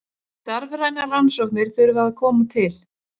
Starfrænar rannsóknir þurfa að koma til.